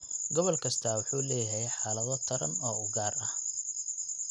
Gobol kastaa wuxuu leeyahay xaalado taran oo u gaar ah.